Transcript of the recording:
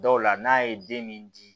Dɔw la n'a ye den min di